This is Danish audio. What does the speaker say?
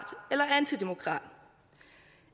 eller antidemokrat